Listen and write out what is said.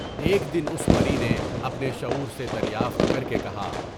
ایک دن اس پری نے اپنے شعور سے دریافت کر کے کہا۔